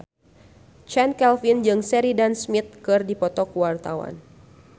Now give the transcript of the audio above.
Chand Kelvin jeung Sheridan Smith keur dipoto ku wartawan